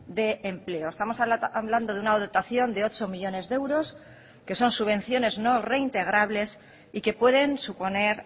de empleo estamos hablando de una dotación de ocho millónes de euros que son subvenciones no reintegrables y que pueden suponer